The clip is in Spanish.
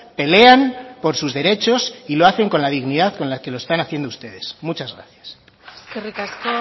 pelean por sus derechos y lo hacen con la dignidad con la que lo están haciendo ustedes muchas gracias eskerrik asko